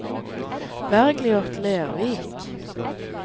Bergliot Lervik